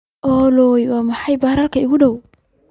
olly waa maxay baararka ii dhow?